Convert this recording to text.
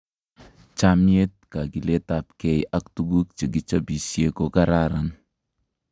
Chamiet, kakiletapkei ak tukuk che kichopisie ko kararan